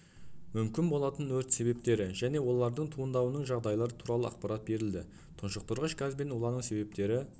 мүмкін болатын өрт себептері және олардың туындауының жағдайлары туралы ақпарат берілді тұншықтырғыш газбен улану себептері